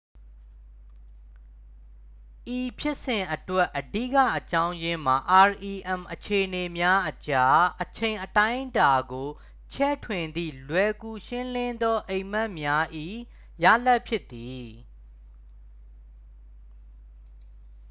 ဤဖြစ်စဉ်အတွက် အဓိကအကြောင်းရင်းမှာ rem အခြေအနေများအကြား အချိန်အတိုင်းအတာကို ချဲ့ထွင်သည့် လွယ်ကူရှင်းလင်းသောအိမ်မက်များ၏ ရလာဒ်ဖြစ်သည်